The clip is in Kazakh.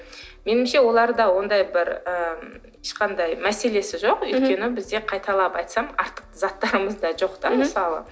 меніңше оларда ондай бір ы ешқандай мәселесі жоқ өйткені бізде қайталап айтсам артық заттарымыз да жоқ та мысалы